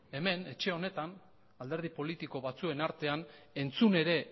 hemen etxe honetan alderdi politiko batzuen artean entzun ere